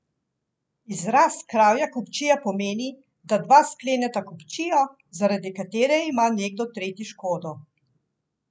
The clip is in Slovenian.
Izraz kravja kupčija pomeni, da dva skleneta kupčijo, zaradi katere ima nekdo tretji škodo.